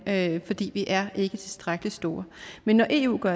lande fordi vi er ikke tilstrækkelig store men når eu går